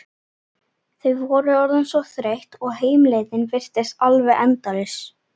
Þau voru orðin svo þreytt og heimleiðin virtist alveg endalaus.